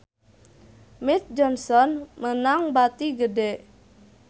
Mead Johnson meunang bati gede